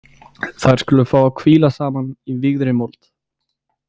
Þær skulu fá að hvíla saman í vígðri mold.